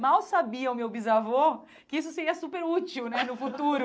Mal sabia o meu bisavô que isso seria super útil, né, no futuro.